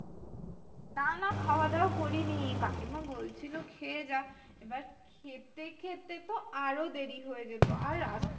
না না খাওয়া দাওয়া করিনি। কাকিমা বলছিলো খেয়ে যা। এবার খেতে খেতে তো আরো দেরি হয়ে যেত। আর